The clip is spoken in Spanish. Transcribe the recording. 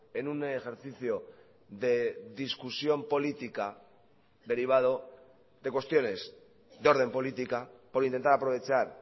en un ejercicio de discusión política derivado de cuestiones de orden política por intentar aprovechar